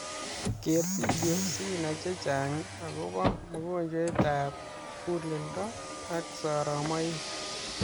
Keer video si nai chechang agobaa mongojwent ab mugulledo ak soromaik